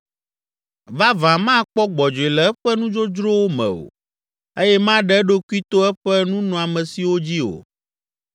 “Vavã makpɔ gbɔdzɔe le eƒe nudzodzrowo me o eye maɖe eɖokui to eƒe nunɔamesiwo dzi o.